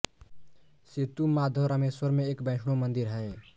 सेतु माधव रामेश्वरम में एक वैष्णव मंदिर है